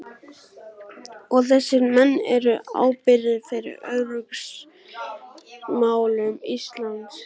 Og þessir menn eru ábyrgir fyrir öryggismálum Íslands!